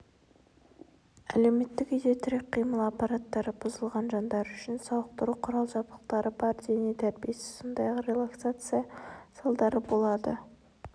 әлеуметтік үйде тірек-қимыл аппараттары бұзылған жандар үшін сауықтыру құрал-жабдықтары бар дене тәрбиесі сондай-ақ релаксация залдары болады